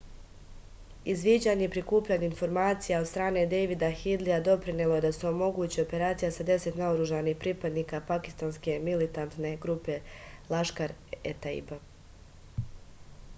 izviđanje i prikupljanje informacija od strane dejvida hidlija doprinelo je da se omogući operacija sa 10 naoružanih pripadnika pakistanske militantne grupe laškar-e-taiba